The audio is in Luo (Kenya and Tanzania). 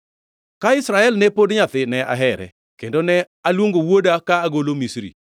“Ka Israel ne pod nyathi, ne ahere, kendo ne aluongo wuoda ka agolo Misri.